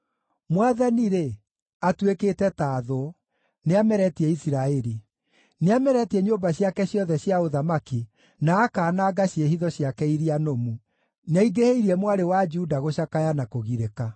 Mwathani-rĩ, atuĩkĩte ta thũ; nĩameretie Isiraeli. Nĩameretie nyũmba ciake ciothe cia ũthamaki, na akaananga ciĩhitho ciake iria nũmu. Nĩaingĩhĩirie Mwarĩ wa Juda gũcakaya na kũgirĩka.